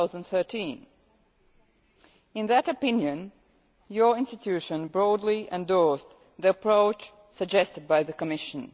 2013. In that opinion your institution broadly endorsed the approach suggested by the Commission.